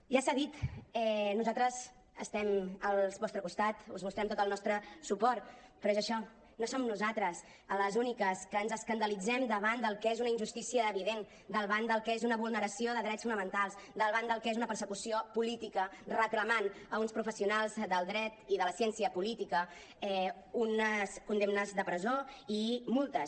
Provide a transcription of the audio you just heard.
ja s’ha dit nosaltres estem al vostre costat us mostrem tot el nostre suport però és això no som nosaltres les úniques que ens escandalitzem davant del que és una injustícia evident davant del que és una vulneració de drets fonamentals davant del que és una persecució política reclamant a uns professionals del dret i de la ciència política unes condemnes de presó i multes